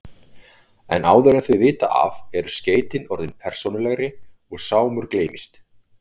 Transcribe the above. En áður en þau vita af eru skeytin orðin persónulegri og Sámur gleymist.